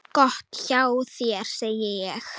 Gott hjá þér, segi ég.